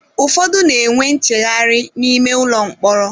Ụfọdụ n'enwe ncheghari n'ime ụlọ mkpọrọ